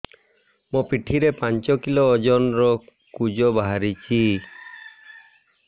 ମୋ ପିଠି ରେ ପାଞ୍ଚ କିଲୋ ଓଜନ ର କୁଜ ବାହାରିଛି